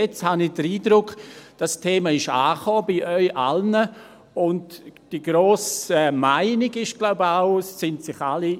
Jetzt habe ich den Eindruck, dieses Thema sei bei Ihnen allen angekommen und die grosse Meinung sei, glaube ich, auch, dass sich alle